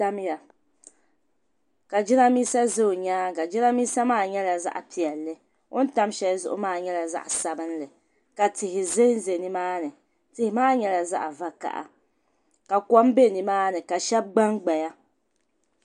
Tamya ka jiranbisa za o nyaaŋa jiranbisa maa nyɛla zaɣi piɛli on tam shelizuɣu maa nyɛla zaɣi sabinli. ka tihi zanza nimaani tihimaa nyɛla zaɣi vakaha ka kom be nimaani ka shab gban gbaya.